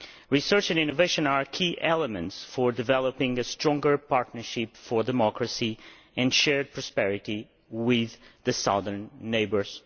Research and innovation are key elements for developing a stronger partnership for democracy and shared prosperity with our southern neighbours.